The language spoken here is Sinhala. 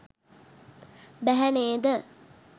බැහැ නේද?